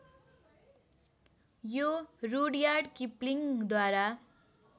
यो रुडयार्ड किपलिङ्गद्वारा